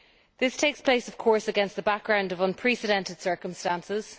This takes place of course against the background of unprecedented circumstances.